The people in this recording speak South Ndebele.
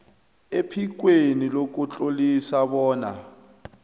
ephikweni lokutlolisa bona